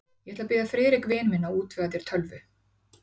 Ég ætla að biðja Friðrik vin minn að útvega þér tölvu.